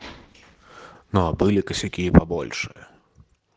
ну а были косяки и побольше